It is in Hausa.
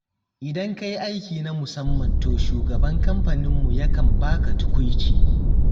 Idan ka yi aiki na musamman to shugaban kamfaninmu ya kan baka tukuici.